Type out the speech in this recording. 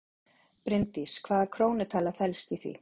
Bryndís: Hvaða krónutala felst í því?